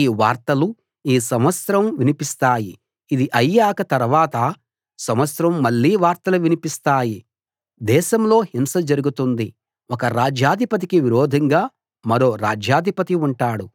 ఈ వార్తలు ఈ సంవత్సరం వినిపిస్తాయి ఇది అయ్యాక తర్వాత సంవత్సరం మళ్ళీ వార్తలు వినిపిస్తాయి దేశంలో హింస జరుగుతుంది ఒక రాజ్యాధిపతికి విరోధంగా మరో రాజ్యాధిపతి ఉంటాడు